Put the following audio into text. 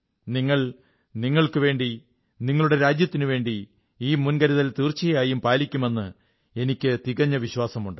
നിങ്ങൾ നിങ്ങൾക്കുവേണ്ടി നിങ്ങളുടെ രാജ്യത്തിനുവേണ്ടി ഈ മുൻകരുതൽ തീർച്ചയായും പാലിക്കുമെന്ന് എനിക്കു തികഞ്ഞ വിശ്വാസമുണ്ട്